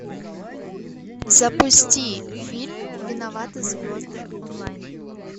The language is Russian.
запусти фильм виноваты звезды онлайн